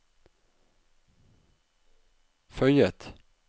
føyet